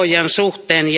suhteen.